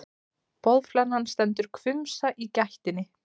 Boðflennan stendur hvumsa í gættinni.